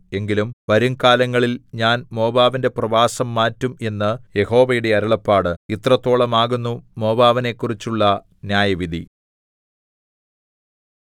എങ്കിലും വരും കാലങ്ങളില്‍ ഞാൻ മോവാബിന്റെ പ്രവാസം മാറ്റും എന്ന് യഹോവയുടെ അരുളപ്പാട് ഇത്രത്തോളമാകുന്നു മോവാബിനെക്കുറിച്ചുള്ള ന്യായവിധി